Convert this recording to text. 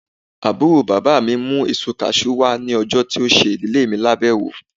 Àbúrò bàbá mí mú èsó cashew wá ní ọjọ tí ó ṣe ìdílè mi lábéwò